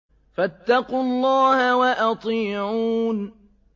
فَاتَّقُوا اللَّهَ وَأَطِيعُونِ